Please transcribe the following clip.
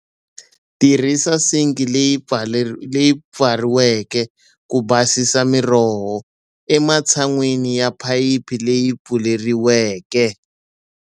Tirhisa sinki leyi pfariweke ku basisa miroho, ematshan'weni ya phayiphi leyi pfuleriweke.